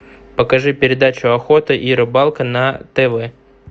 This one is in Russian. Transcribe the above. покажи передачу охота и рыбалка на тв